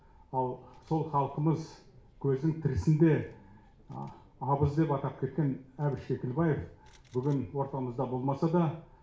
ал сол халқымыз көзінің тірісінде абыз деп атап кеткен әбіш кекілбаев бүгін ортамызда болмаса да